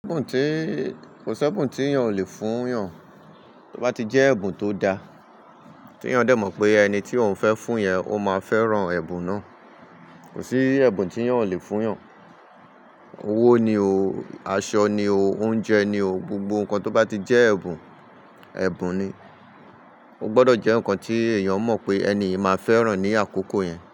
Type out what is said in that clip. Kò sí ẹ̀bùn tí èèyàn ò le fún èèyàn, tó bá ti jẹ́ ẹ̀bùn tó da, tí èèyàn dẹ̀ mọ̀ pé ẹni tí òun fẹ́ fún yẹn, ó máa fẹ́ràn ẹ̀bùn náà. Kò sí ẹ̀bùn tí èèyàn ò lè fún èèyàn. Owó ni o, aṣọ ni o, oúnjẹ ni o, gbogbo nǹkan tó bá ti jẹ́ ẹ̀bùn, ẹ̀bùn ni. Ó gbọdọ̀ jẹ́ nǹkan tí èèyàn mọ̀ pé ẹni yi máa fẹ́ràn ní àkókò yẹn.